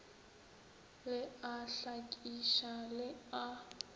le a hlakiša le a